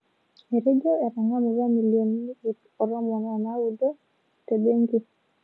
Etejo etang'amutua milionini iip o tomon o naudo te benki